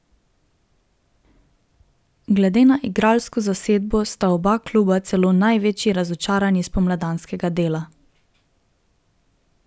Glede na igralsko zasedbo sta oba kluba celo največji razočaranji spomladanskega dela.